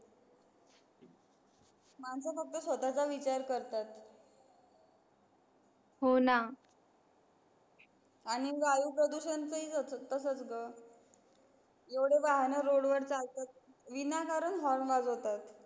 माणसं फक्त स्वतःचा विचार करतात हो ना आणि वायू प्रदूषण चा हि तसच असतं एवढे वाहन रोड वर चालतात विना कारण horn वाजवतात